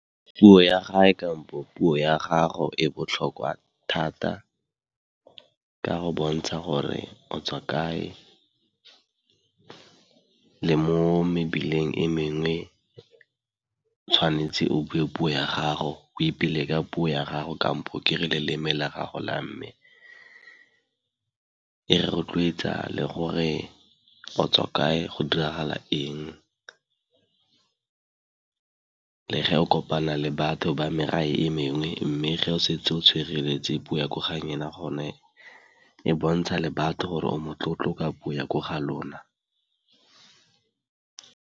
Puo ya gae kampo puo ya gago e botlhokwa thata ka go bontsha gore o tswa kae, le mo mebileng e mengwe tshwanetse o bue puo ya gago, oipele ka puo ya gago kampo ke re loleme la gago la mme. E rotloetsa le gore o tswa kae go diragala eng, le ge o kopana le batho ba e mengwe mme ge o setse o tshwereletse puo ya ko ga gone e bontsha le batho gore o motlotlo ka puo ya ko ga lona.